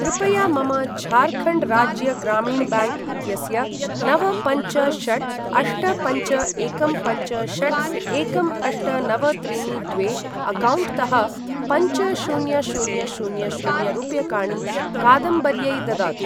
कृपया मम झार्खण्ड् राज्य ग्रामीण ब्याङ्क् इत्यस्य नव पञ्च षट् अष्ट पञ्च एकं पञ्च षट् एकं अष्ट नव त्रीणि द्वे अक्कौण्ट् तः पञ्च शून्य शून्य शून्य शून्य रूप्यकाणि कादम्बर्यै ददातु।